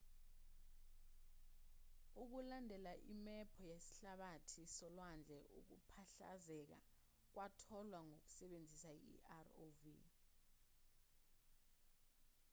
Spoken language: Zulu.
ukulandela imephu yesihlabathi solwandle ukuphahlazeka kwatholwa ngokusebenzisa i-rov